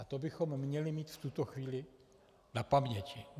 A to bychom měli mít v tuto chvíli na paměti.